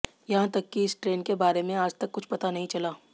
यहां तक कि इस ट्रेन के बारे में आजतक कुछ पता नहीं चला